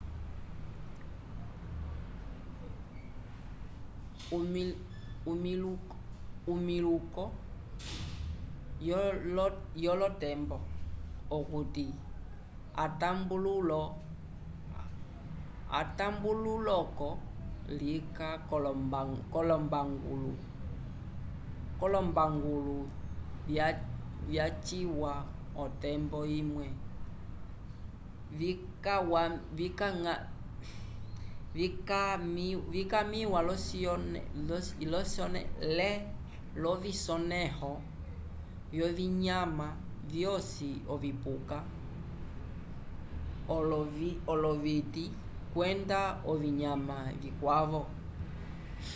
omiluko yolotembo okuti atambululo-ko lika k'olombangulo vyaciwa otembo imwe vikawamĩwa l'ovisonẽho vyovinyama vyosi ovipuka oloviti kwenda ovinyama vikwavo